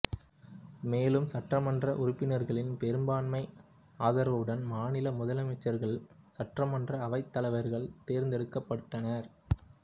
மேலும் சட்டமன்ற உறுப்பினர்களின் பெரும்பான்மை ஆதரவுடன் மாநில முதலமைச்சர்கள் சட்டமன்ற அவைத் தலைவர்கள் தேர்ந்தெடுக்க்கப்பட்டனர்